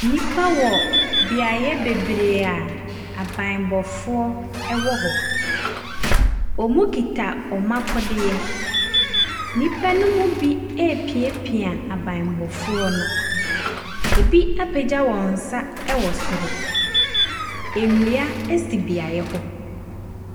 Nnipa wɔ beaeɛ bebree a abammɔfoɔ wɔ hɔ. Wɔkita wɔn akodeɛ. Nnipa no mu bi repiapia abammɔfoɔ no. ɛbi apagya wɔn nsa wɔ soro. Nnua si beaeɛ hɔ.